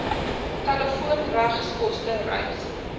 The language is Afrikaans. telefoon regskoste reis